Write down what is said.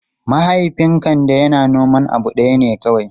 Mahaifin Kande yana noman abu ɗaya ne kawai.